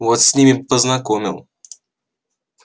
вот с ними бы познакомил